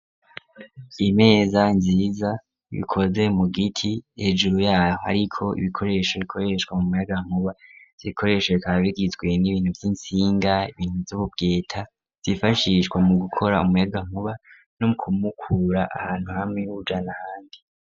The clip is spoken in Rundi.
Imeza nziza ikoze mu giti ,hejuru yayo hariko ibikoresho bikoreshwa umuyagankuba ,ivyobikoresho bikaba bigizwe n'ibintu vy'intsinga ,ibintu vy'ububweta vyifashishwa mu gukora umuyaga nkuba ,no muwukura ahantu hamwe muwujana handi.